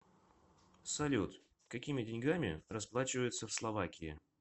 салют какими деньгами расплачиваются в словакии